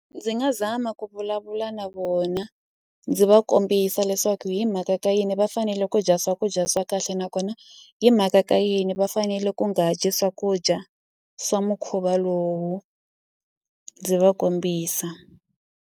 Ndzi nga zama ku vulavula na vona ndzi va kombisa leswaku hi mhaka ka yini va fanele ku dya swakudya swa kahle nakona hi mhaka ka yini va fanele ku nga dyi swakudya swa mukhuva lowu ndzi va kombisa.